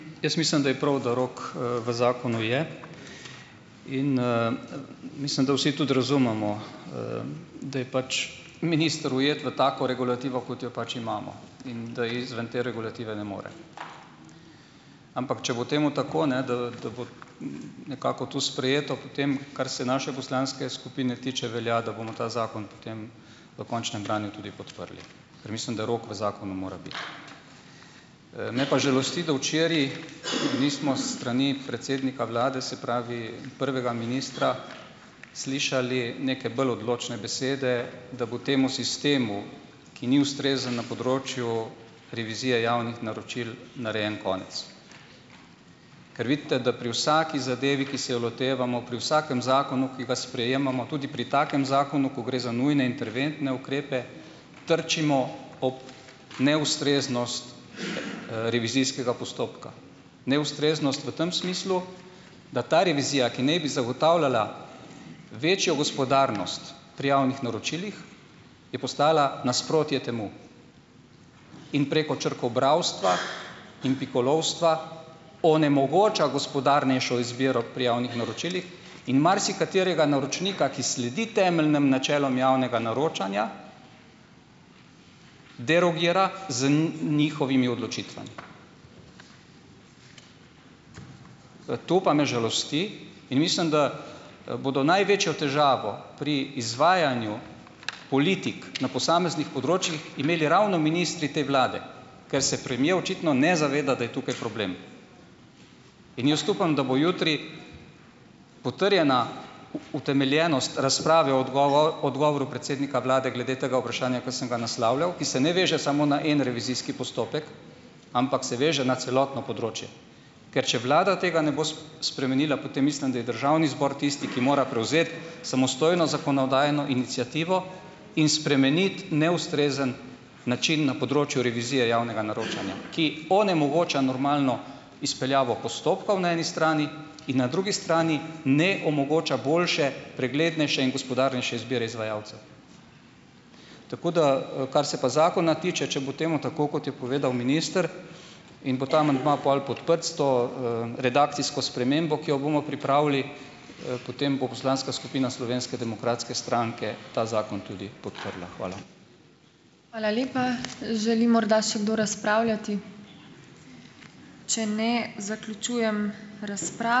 Jaz mislim, da je prav, da rok, v zakonu je in, mislim, da vsi tudi razumemo, da je pač minister ujet v tako regulativo, kot jo pač imamo, in da izven te regulative ne more. Ampak, če bo temu tako, ne, da da bo nekako to sprejeto, potem kar se naše poslanske skupine tiče, velja, da bomo ta zakon potem v končnem branju tudi podprli, ker mislim, da rok v zakonu mora biti. Me pa žalosti, da včeraj nismo s strani predsednika vlade, se pravi prvega ministra, slišali neke bolj odločne besede, da bo temu sistemu, ki ni ustrezen na področju revizije javnih naročil, narejen konec. Ker vidite, da pri vsaki zadevi, ki se jo lotevamo, pri vsakem zakonu, ki ga sprejemamo, tudi pri takem zakonu, ko gre za nujne ukrepe interventne, trčimo ob neustreznost, revizijskega postopka. Neustreznost v tem smislu, da ta revizija, ki naj bi zagotavljala večjo gospodarnost pri javnih naročilih, je postala nasprotje temu. In preko črkobralstva in pikolovstva onemogoča gospodarnejšo izbiro pri javnih naročilih in marsikaterega naročnika, ki sledi temeljnem načelom javnega naročanja, derogira z njihovimi odločitvami. To pa me žalosti in mislim, da, bodo največjo težavo pri izvajanju politik na posameznih področjih, imeli ravno ministri te vlade, ker se premier očitno ne zaveda, da je tukaj problem. In jaz upam, da bo jutri potrjena utemeljenost razprave odgovoril predsednika vlade glede tega vprašanja, ki sem ga naslavljal, ki se ne veže samo na en revizijski postopek, ampak se veže na celotno področje, ker če vlada tega ne bo spremenila, potem mislim, da je državni zbor tisti, ki mora prevzeti samostojno zakonodajno iniciativo in spremeniti neustrezen način na področju revizije javnega naročanja, ki onemogoča normalno izpeljavo postopkov na eni strani in na drugi strani ne omogoča boljše, preglednejše in gospodarnejše izbire izvajalcev. Tako da, kar se pa zakona tiče, če bo temu tako, kot je povedal minister, in bo ta amandma pol podprt s to, redakcijsko spremembo, ki jo bomo pripravili, potem bo poslanska skupina Slovenske demokratske stranke ta zakon tudi podprla. Hvala.